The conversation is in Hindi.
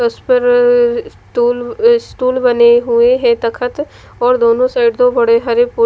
उस पर अ स्टूल स्टूल बने हुए हैं तख्त और दोनों साइड दो बड़े हरे--